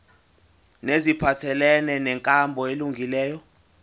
neziphathelene nenkambo elungileyo